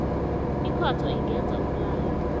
ikhotho ingenza umlayo